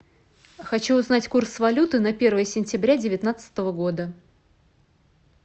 хочу узнать курс валюты на первое сентября девятнадцатого года